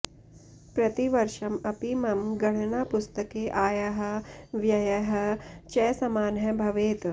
प्रतिवर्षम् अपि मम गणनापुस्तके आयः व्ययः च समानः भवेत्